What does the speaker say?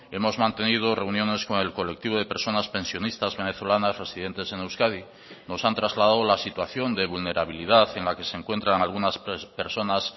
hemos mantenido reuniones con el colectivo de personas pensionistas venezolanas residentes en euskadi nos han trasladado la situación de vulnerabilidad en la que se encuentran algunas personas